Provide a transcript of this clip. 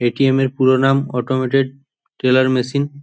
ATM এর পুরো নাম অটোমেটেড টেলার মেশিন ।